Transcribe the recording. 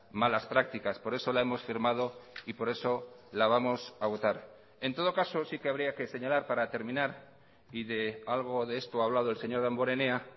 malas prácticas por eso la hemos firmado y por eso la vamos a votar en todo caso sí que habría que señalar para terminar y de algo de esto ha hablado el señor damborenea